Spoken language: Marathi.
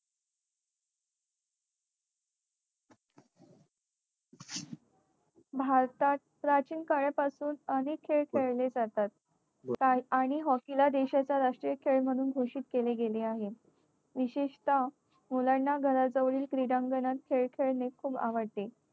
भारतात प्राचीन काळापासून अनेक खेळ खेळले जातात. आणि hockey ला देशाचा राष्ट्रीय खेळ म्हणून घोषित केले गेले आहे. विशेषतः मुलांना घराजवळील क्रीडांगणात खेळ खेळणे खूप आवडते.